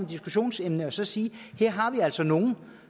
diskussionsemne og så sige at her har vi altså nogle